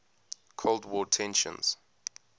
cold war tensions